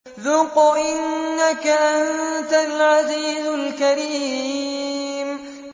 ذُقْ إِنَّكَ أَنتَ الْعَزِيزُ الْكَرِيمُ